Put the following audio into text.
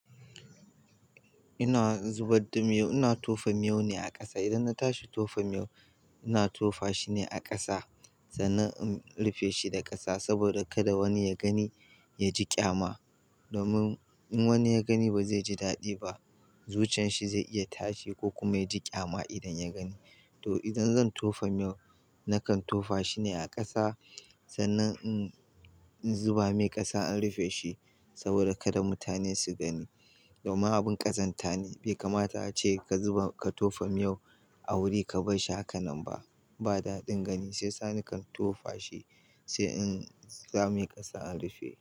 Ina zubar da miyo, ina tofa miyo ne a ƙasa. Idan na tashi tofa miyo, ina tofa shi ne a ƙasa sannan in rufe shi da ƙasa saboda kada wani ya gani, ya ji ƙyama. Domin in wani ya gani ba zai ji daɗi ba. Zucin shi zai iya tashi ko kuma ya ji ƙyama idan ya gani. To idan zan tofa miyo, nakan tofa shi ne a ƙasa sannan in zuba mai ƙasa an rufe shi saboda kada mutane su gani. Domin abin ƙazanta ne, bai kamata a ce ka zuba, ka tofa miyo a wuri ka bar shi haka nan ba. Ba daɗin gani, sai sani kan tofa shi sai in sa mai ƙasa in rufe.